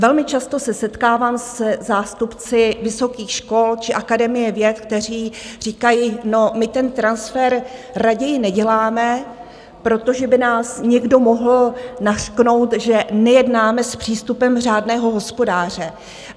Velmi často se setkávám se zástupci vysokých škol či Akademie věd, kteří říkají no, my ten transfer raději neděláme, protože by nás někdo mohl nařknout, že nejednáme s přístupem řádného hospodáře.